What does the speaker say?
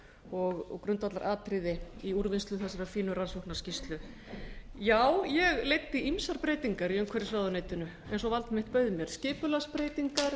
og grundvallaratriði í úrvinnslu þessarar fínu rannsóknarskýrslu já ég leiddi ýmsar breytingar í umhverfisráðuneytinu eins og vald mitt bauð mér skipulagsbreytingar